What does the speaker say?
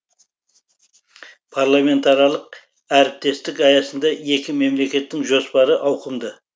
парламентаралық әріптестік аясында екі мемлекеттің жоспары ауқымды